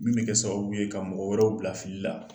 Min be kɛ sababu ye ka mɔgɔ wɛrɛw bila fili la.